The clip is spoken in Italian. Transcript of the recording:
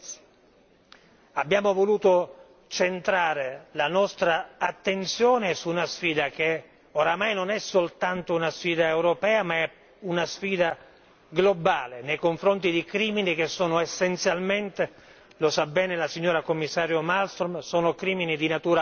Abbiamo voluto centrare la nostra attenzione su una sfida che oramai non è soltanto una sfida europea, ma è una sfida globale nei confronti di crimini che sono essenzialmente lo sa bene la signora Commissario Malmström crimini di natura economica.